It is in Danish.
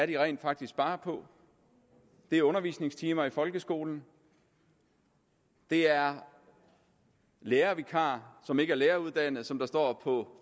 de rent faktisk sparer på det er undervisningstimer i folkeskolen det er lærervikarer som ikke er læreruddannede som der står på